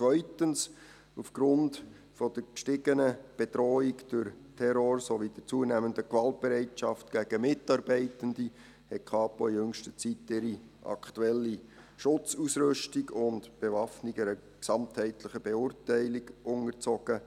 Zweitens: Aufgrund der gestiegenen Bedrohung durch Terror sowie der zunehmenden Gewaltbereitschaft gegen Mitarbeitende hat die Kapo in jüngster Zeit ihre aktuelle Schutzausrüstung und Bewaffnung einer gesamtheitlichen Beurteilung unterzogen.